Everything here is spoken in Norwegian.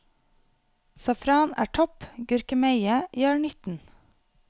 Safran er topp, gurkemeie gjør nytten.